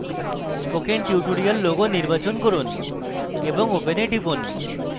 spoken tutorial logo নির্বাচন করুন এবং open এ টিপুন